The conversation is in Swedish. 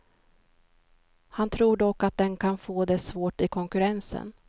Han tror dock att den kan få det svårt i konkurrensen.